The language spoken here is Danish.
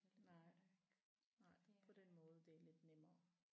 Nej nej på den måde det er lidt nemmere